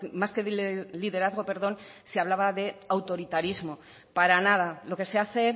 más que liderazgo perdón se hablaba de autoritarismo para nada lo que se hace